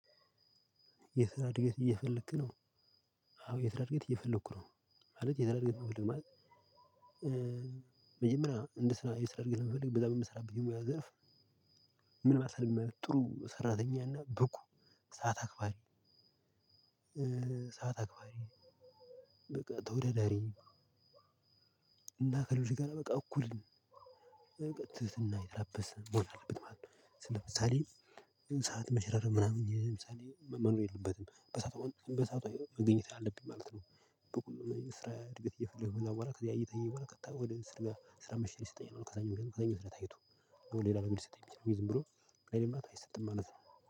የስራ እድገት እየፈለክ ነው? አዎ የስራ እድገት እየፈለኩ ነው። ማለት የስራ እድገት መፈለግ ማለት። መጀመሪያ እንደ ስራዬ ስራ እድል ለመፈለግ በዛ በምሰራበት ሙያ ዘርፍ። ምን ማለት ነው? ጥሩ ሰራተኛ እና ብቁ ሰዓት አክባሪ። ሰዓት አክባሪ። በቃ ተወዳዳሪ። እንዳትረሽ ካለ በቃ እኩል በቃ ትህትና የተላበሰ መሆን አለበት ማለት ነው። ስል ለምሳሌ ሰዓት መሽረፍ ምናምን የምሳሌ መኖር የለበትም በሳአቱ በሳቱ መገኘት አለብኝ ማለት ነው። በቁም ስራ እድገት እየፈለገ ከዛ በኋላ እየጠየቁ በኋላ ቀጥታ ስራ አስራአምስትሺ ይሰጠኛል። ከዛኛው ጋር ከዛኛው ስራየ ታይቶ ሌላ ነገር ሊሰጠኝ ይችላል። ዝም ብሎ ሌላ ምናምን አይሰጥም ማለት ነው።